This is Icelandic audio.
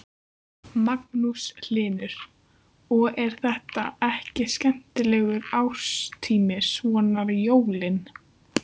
Magnús Hlynur: Og, er þetta ekki skemmtilegur árstími, svona jólin?